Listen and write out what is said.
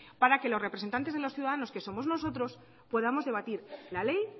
para que los representantes de los ciudadanos que somos nosotros podamos debatir la ley